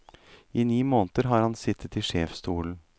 I ni måneder har han sittet i sjefsstolen.